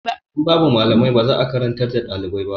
In babu malamai ba za a karantar da ɗalibai ba.